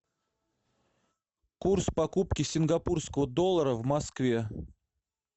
курс покупки сингапурского доллара в москве